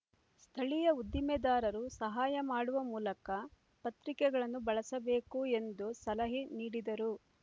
ಸ್ಥಳೀಯ ಉದ್ದಿಮೆದಾರರು ಸಹಾಯ ಮಾಡುವ ಮೂಲಕ ಪತ್ರಿಕೆಗಳನ್ನು ಬಳಸಬೇಕು ಎಂದು ಸಲಹೆ ನೀಡಿದರು